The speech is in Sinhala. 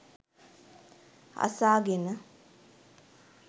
අසාගෙන